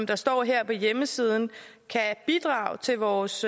der står her på hjemmesiden kan bidrage til vores